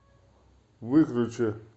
выключи